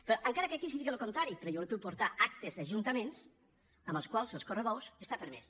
però encara que aquí se digui el contrari jo li puc portar actes d’ajuntaments en les quals els correbous estan permesos